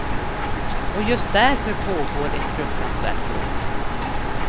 Och just därför pågår ett fruktansvärt bråk.